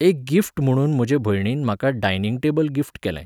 एक गिफ्ट म्हुणून म्हजे भयणीन म्हाका डायनिंग टेबल गिफ्ट केलें.